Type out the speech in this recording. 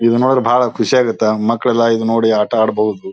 ಇದ್ ನೋಡಿ ಬಹಳ ಖುಷಿ ಆಗುತ್ತೆ ಮಕ್ಕಳು ಎಲ್ಲ ಇದು ನೋಡಿ ಆಟ ಆಡ್ಬಹುದು.